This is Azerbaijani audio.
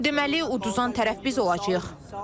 Deməli uduzan tərəf biz olacağıq.